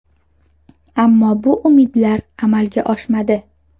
Ammo bu umidlar amalga oshmadi.